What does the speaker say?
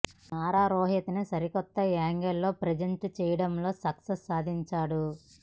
నారా రోహిత్ ను సరికొత్త యాంగిల్ లో ప్రజెంట్ చేయటంలో సక్సెస్ సాధించాడు